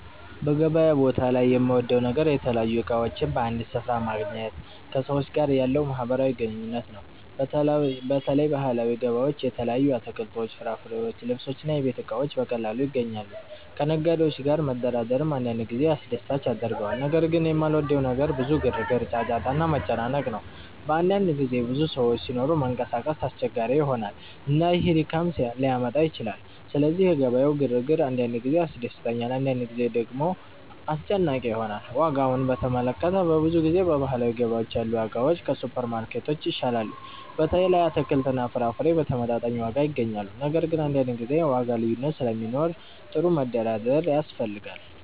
በገበያ ቦታ ላይ የምወደው ነገር የተለያዩ እቃዎችን በአንድ ስፍራ ማግኘት እና ከሰዎች ጋር ያለው ማህበራዊ ግንኙነት ነው። በተለይ ባህላዊ ገበያዎች የተለያዩ አትክልቶች፣ ፍራፍሬዎች፣ ልብሶች እና የቤት እቃዎች በቀላሉ ይገኛሉ። ከነጋዴዎች ጋር መደራደርም አንዳንድ ጊዜ አስደሳች ያደርገዋል። ነገር ግን የማልወደው ነገር ብዙ ግርግር፣ ጫጫታ እና መጨናነቅ ነው። በአንዳንድ ጊዜ ብዙ ሰዎች ሲኖሩ መንቀሳቀስ አስቸጋሪ ይሆናል፣ እና ይህ ድካም ሊያመጣ ይችላል። ስለዚህ የገበያው ግርግር አንዳንድ ጊዜ ያስደስተኛል፣ አንዳንድ ጊዜ ደግሞ አስጨናቂ ይሆናል። ዋጋዎችን በተመለከተ፣ በብዙ ጊዜ በባህላዊ ገበያዎች ያሉ ዋጋዎች ከሱፐርማርኬቶች ይሻላሉ። በተለይ አትክልትና ፍራፍሬ በተመጣጣኝ ዋጋ ይገኛሉ። ነገር ግን አንዳንድ ጊዜ የዋጋ ልዩነት ስለሚኖር ጥሩ መደራደር ያስፈልጋል።